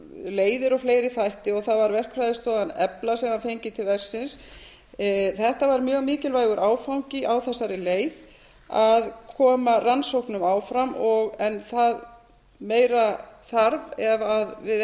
jarðgangaleiðir og fleiri þætti og það var verkfræðistofan efla sem var fengin til verksins þetta var mjög mikilvægur áfangi á þessari leið að koma rannsóknum áfram en meira þarf ef við eigum að